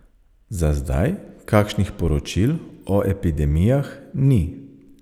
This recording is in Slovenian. Za zdaj kakšnih poročil o epidemijah ni.